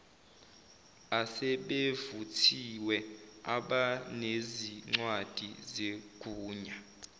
asebevuthiwe abanezincwadi zegunya